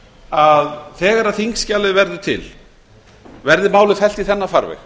að þegar þingskjalið verður til verði málið fellt í þennan farveg